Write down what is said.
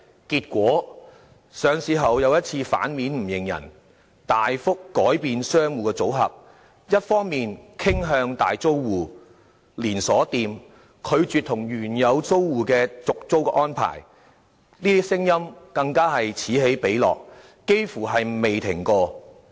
結果，領匯上市後再次"反面不認人"，大幅改變商戶的組合，一面倒傾向大租戶、連鎖店，拒絕與原有租戶續租的事件，更是此起彼落，幾乎未曾停止。